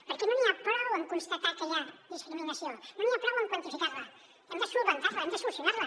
perquè no n’hi ha prou amb constatar que hi ha discriminació no n’hi ha prou amb quantificar la hem de resoldre la hem de solucionar la